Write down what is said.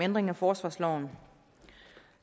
ændring af forsvarsloven